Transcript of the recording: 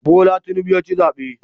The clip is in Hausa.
Bola Tinubu ya ci zabe